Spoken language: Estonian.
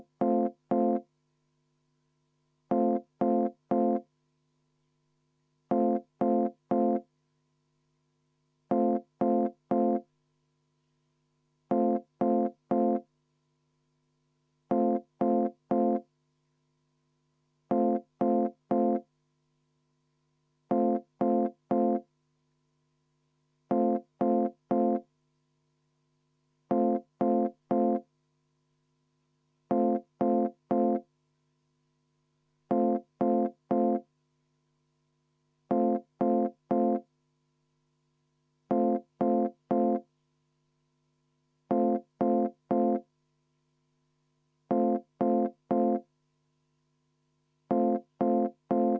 Aga ma paluksin kindlasti seda 41. ettepanekut hääletada ja loomulikult teha ka kohaloleku kontroll, et meie head kolleegid ei jääks puhkama, vaid saaksime üheskoos tööd edasi teha.